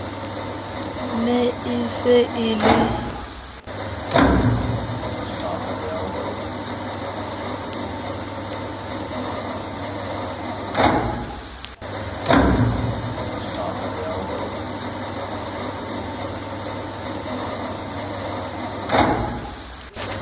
ne e se e le